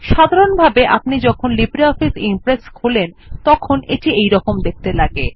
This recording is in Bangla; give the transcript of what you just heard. সাধারনভাবে আপনি যখন লিব্রিঅফিস ইমপ্রেস খোলেন তখন সেটি এইরকম দেখতে লাগে